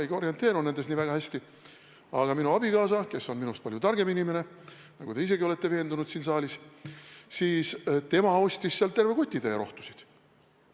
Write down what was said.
Ma ei orienteeru selles kõiges väga hästi, aga minu abikaasa, kes on minust palju targem inimene, nagu te isegi olete siin saalis veendunud, ostis sealt terve kotitäie rohtusid.